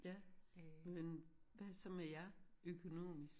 Ja men hvad så med jer? Økonomisk